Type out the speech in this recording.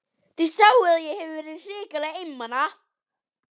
Þið sjáið að ég hef verið hrikalega einmana!